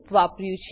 વાપર્યું છે